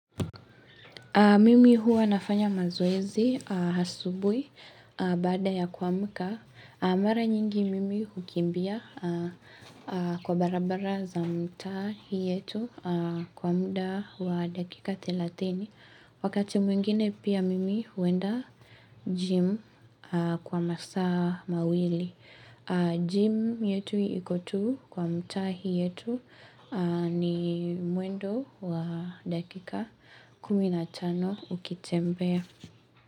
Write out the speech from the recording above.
Mimi huwa nafanya mazoezi asubuhi baada yakwamka. Mara nyingi mimi hukimbia kwa barabara za mtaa hii yetu kwa muda wa dakika thelathini. Wakati mwingine pia mimi huenda gym kwa masaa mawili. Gym yetu iko tu kwa mtaa hii yetu ni mwendo wa dakika kumi na tano ukitembea.